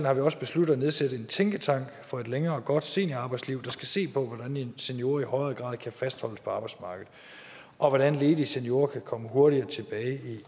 har vi også besluttet at nedsætte en tænketank for et længere godt seniorarbejdsliv der skal se på hvordan seniorer i højere grad kan fastholdes på arbejdsmarkedet og hvordan ledige seniorer kan komme hurtigere tilbage